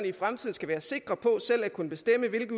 i fremtiden skal være sikre på selv at kunne bestemme hvilke